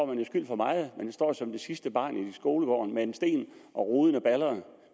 man jo skyld for meget man står som det sidste barn i skolegården med en sten og ruden er baldret